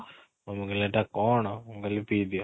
mummy କହିଲେ ଏଇଟା କ'ଣ? ମୁଁ କହିଲି ପିଇଦିଅ